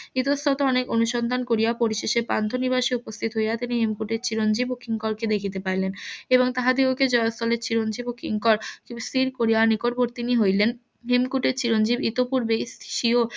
ইতস্তত অনেক অনুসন্ধান করিয়া পরিশেষে পান্থনিবাসে উপস্থিত হইয়া তিনি হেমকূটের চিরঞ্জিব ও কিংকর কে দেখিতে পাইলেন এবং তাহাদিগকে চিরঞ্জিব ও কিংকর স্থির করিয়া নিকটবর্তিনী হইলেন হেমকূটের চিরঞ্জিব ইতোপূর্বেই